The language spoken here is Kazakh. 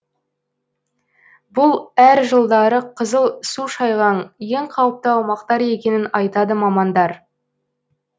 бұл әр жылдары қызыл су шайған ең қауіпті аумақтар екенін айтады мамандар